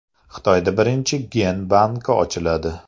Xitoyda birinchi gen banki ochiladi.